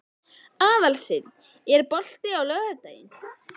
Arnsteinn, er bolti á laugardaginn?